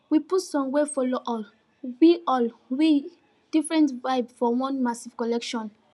we put songs wey follow all we all we different vibe for one massive collection